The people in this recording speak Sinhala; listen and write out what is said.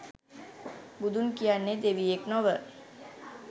බුදුන් කියන්නේ දෙවියෙක් නොව